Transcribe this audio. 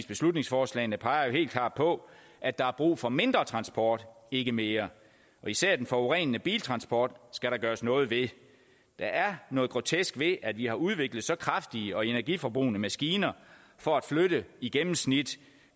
beslutningsforslagene peger jo helt klart på at der er brug for mindre transport og ikke mere især den forurenende biltransport skal der gøres noget ved der er noget grotesk ved at vi har udviklet så kraftige og energiforbrugende maskiner for at flytte i gennemsnit